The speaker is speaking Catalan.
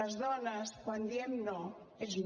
les dones quan diem no és no